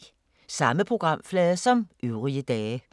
Samme programflade som øvrige dage